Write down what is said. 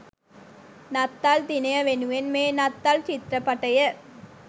නත්තල් දිනය වෙනුවෙන් මේ නත්තල් චිත්‍රපටය